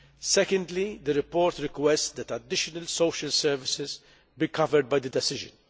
Secondly, the report requests that additional social services be covered by the decision.